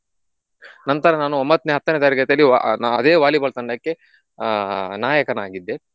ನಂತರ ನಾನು ಒಂಬತ್ನೆ ಹತ್ತನೆ ತರಗತಿಯಲ್ಲಿ ಆಹ್ ನಾ ಅದೇ Volleyball ತಂಡಕ್ಕೆ ಆಹ್ ನಾಯಕನಾಗಿದ್ದೆ.